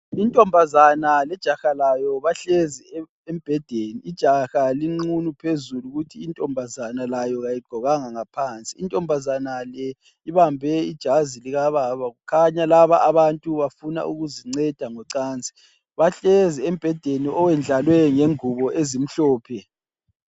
Intombazane lejaha layo bahlezi embhedeni, ijaha lingqunu phezulu kuthi intombazane layo kayigqokanga ngaphansi intombazana le ibambe ijazi lika baba khanya laba abantu bafuna ukuzinceda ngocansi. Bahlezi embhedeni owendlalwe ngengubo ezimhlophe.